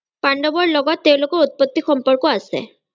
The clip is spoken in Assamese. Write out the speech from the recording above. পাণ্ডৱৰ লগত তেওঁলোকৰ উত্‍পত্তি সম্পৰ্কে আছে।